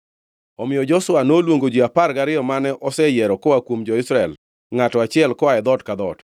Omiyo Joshua noluongo ji apar gariyo mane oseyiero koa kuom jo-Israel, ngʼato achiel koa e dhoot ka dhoot,